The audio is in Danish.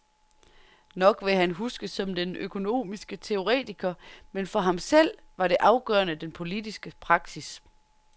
Nok vil han huskes som den økonomiske teoretiker, men for ham selv var det afgørende den politiske praksis.